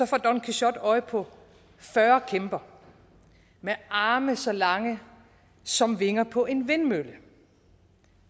får don quixote øje på fyrre kæmper med arme så lange som vinger på en vindmølle og